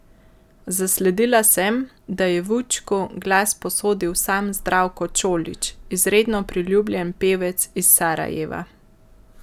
Zasledila sem, da je Vučku glas posodil sam Zdravko Čolić, izredno priljubljen pevec iz Sarajeva.